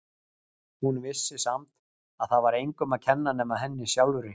Hún vissi samt að það var engum að kenna nema henni sjálfri.